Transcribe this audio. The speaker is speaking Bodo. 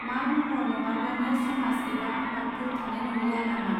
मा महर नङाब्लानो समाज एबा आफातफोर थानाय नंलिया नामा.